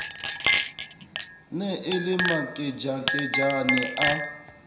ne e le makejakejane a